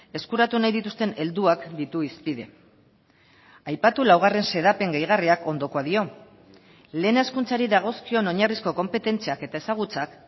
eskuratu nahi dituzten helduak ditu hizpide aipatu laugarren xedapen gehigarriak ondokoa dio lehen hezkuntzari dagozkion oinarrizko konpetentziak eta ezagutzak